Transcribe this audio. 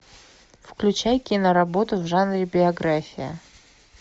включай киноработу в жанре биография